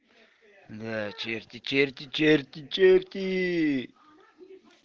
да черти черти черти черти